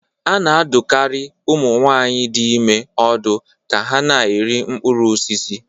Ana-adụkarị ụmụ nwaanyị dị ime ọdụ ka ha na-eri mkpụrụ osisi.